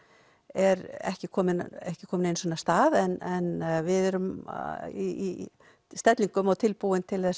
er ekki komin ekki komin af stað en við erum í stellingum og tilbúin til